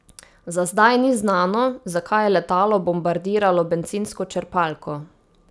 Za zdaj ni znano, zakaj je letalo bombardiralo bencinsko črpalko.